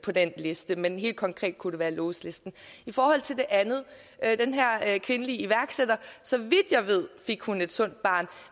på den liste men helt konkret kunne det være lous listen i forhold til det andet altså den her kvindelige iværksætter så vidt jeg ved fik hun et sundt barn